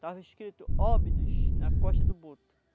Tava escrito Óbidos na costa do boto.